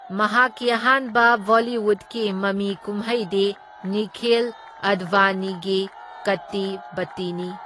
ꯃꯍꯥꯛꯀꯤ ꯑꯍꯥꯟꯕ ꯕꯣꯂꯤꯋꯨꯗꯀꯤ ꯃꯃꯤ ꯀꯨꯝꯍꯩꯗꯤ ꯅꯤꯈꯤꯜ ꯑꯗꯚꯥꯅꯤꯒꯤ ꯀꯠꯇꯤ ꯕꯠꯇꯤꯅꯤ꯫